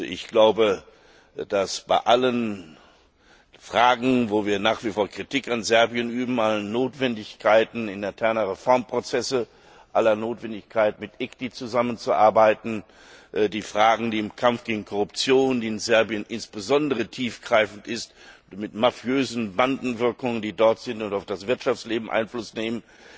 Ich glaube, dass bei allen Fragen, in denen wir nach wie vor Kritik an Serbien üben, allen Notwendigkeiten interner Reformprozesse, aller Notwendigkeit, mit dem ICTY zusammenzuarbeiten, den Fragen im Kampf gegen Korruption, die insbesondere in Serbien besonders tiefgreifend ist, mit mafiösen Bandenwirkungen, die dort sind und auf das Wirtschaftsleben Einfluss nehmen,